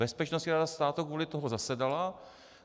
Bezpečnostní rada státu kvůli tomu zasedala.